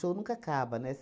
Show nunca acaba, né?